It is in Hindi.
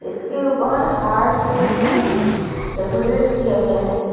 इसके ऊपर हार्ट शेप भी डेकोरेट किया गया है।